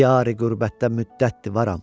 Diyari-qürbətdə müddətdir varam.